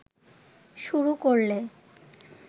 শুরু করলে